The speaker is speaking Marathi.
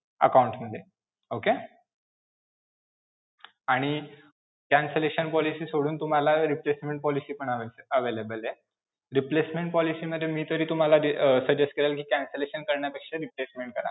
Account मध्ये. okay. आणि cancellation policy सोडून तुम्हाला replacement policy पण avail~available आहे. replacement policy मध्ये मी तरी तुम्हाला अं suggest करेन कि cancellation करण्यापेक्षा replacement